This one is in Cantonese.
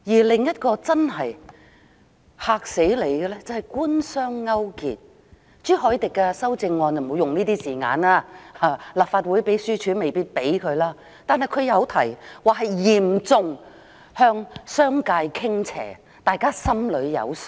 另一個真正"嚇死人"的問題是官商勾結，朱凱廸議員的修正案不會用這些字眼，立法會秘書處亦未必容許，但他提到嚴重向商界傾斜，大家便心裏有數。